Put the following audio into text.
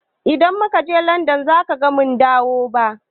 Idan mu ka je Landan baza mu dawo ba